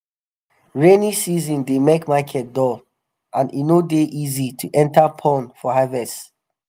rainy season dey make market dull and e no dey easy to enta pond for harvest.